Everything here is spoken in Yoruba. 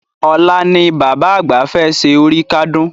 Ọ̀la ni Bàbá àgbà fẹ́ ṣe oríkádún